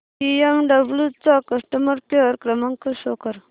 BMW चा customer care क्रमांक show कर